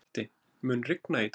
Patti, mun rigna í dag?